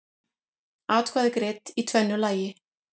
Atkvæði greidd í tvennu lagi